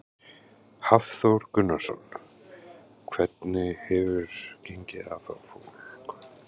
Hafþór Gunnarsson: Hvernig hefur gengið að fá fólk?